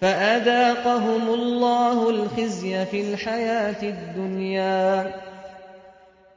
فَأَذَاقَهُمُ اللَّهُ الْخِزْيَ فِي الْحَيَاةِ الدُّنْيَا ۖ